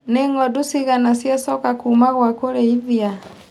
Nĩ ngondu cigana ciacoka kuma gwa kũrĩithia.